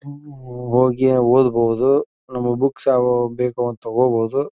ಹೋಗಿ ಓದಬಹುದು ಬುಕ್ಸ್ ಯಾವವು ಬೇಕು ಅಂತ ತೋಕೋಬಹುದು.